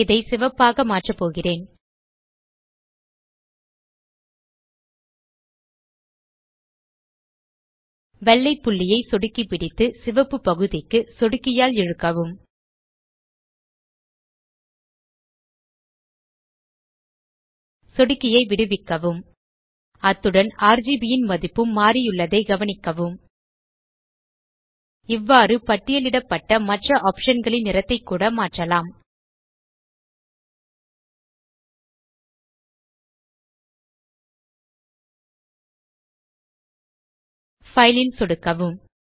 இதை சிவப்பாக மாற்ற போகிறேன் வெள்ளை புள்ளியை சொடுக்கி பிடித்து சிவப்பு பகுதிக்கு சொடுக்கியால் இழுக்கவும் சொடுக்கியை விடுவிக்கவும் அத்துடன் ஆர்ஜிபி ன் மதிப்பும் மாறியுள்ளதை கவனிக்கவும் இவ்வாறு பட்டியலிடப்பட்ட மற்ற ஆப்ஷன் களின் நிறத்தைக்கூட மாற்றலாம் பைல் ல் சொடுக்கவும்